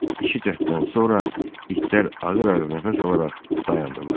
İki cəhddən sonra itlər ağır-ağır nəfəs alaraq dayandılar.